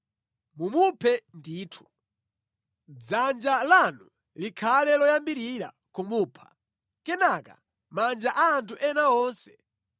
Mumuphe ndithu. Dzanja lanu likhale loyambirira kumupha, kenaka manja a anthu ena onse.